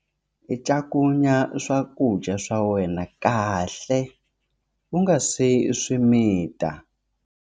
Cakunya swakudya swa wena kahle u nga si swi mita.